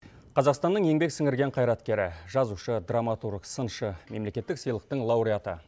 қазақстанның еңбек сіңірген қайраткері жазушы драматург сыншы мемлекеттік сыйлықтың лауреаты